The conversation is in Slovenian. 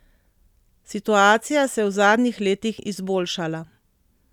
Situacija se je v zadnjih letih izboljšala.